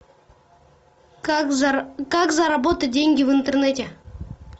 как заработать деньги в интернете